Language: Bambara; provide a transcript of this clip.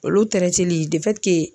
Olu cili